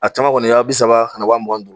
A caman kɔni ye wa bi saba ani wa mugan ni duuru.